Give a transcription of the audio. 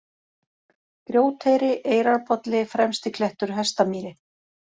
Grjóteyri, Eyrarbolli, Fremstiklettur, Hestamýri